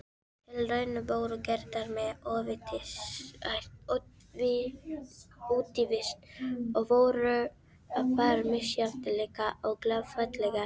Tilraunir voru gerðar með útivist og voru þær misjafnlega klaufalegar.